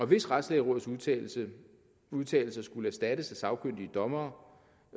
hvis retslægerådets udtalelser udtalelser skulle erstattes af sagkyndige dommere